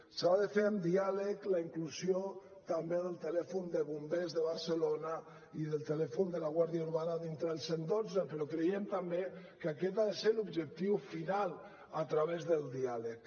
s’ha de fer amb diàleg la inclusió també del telèfon de bombers de barcelona i del telèfon de la guàrdia urbana dintre del cent i dotze però creiem també que aquest ha de ser l’objectiu final a través del diàleg